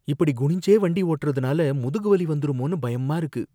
இப்படி குனிஞ்சே வண்டி ஓட்டுறதுனால முதுகு வலி வந்துருமோன்னு பயமா இருக்கு.